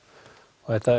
þetta